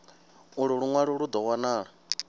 ulu lunwalo lu do wanala